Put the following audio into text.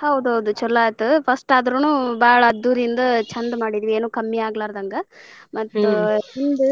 ಹೌದ ಹೌದ ಚೊಲೊ ಆತ್ first ಆದ್ರುನು ಬಾಳ ಅದ್ದೂರಿಯಿಂದ ಚಂದ್ ಮಾಡಿದ್ವಿ ಏನು ಕಮ್ಮಿ ಆಗಲಾರದಂಗ ಮತ್ತ್ ಈದ